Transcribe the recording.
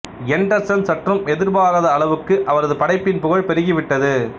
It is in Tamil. எண்டர்சன் சற்றும் எதிர்பாராத அளவுக்கு அவரது படைப்பின் புகழ் பெருகிவிட்டது